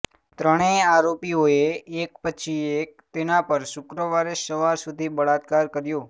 ત્રણેય આરોપીઓએ એક પછી એક તેના પર શુક્રવારે સવાર સુધી બળાત્કાર કર્યો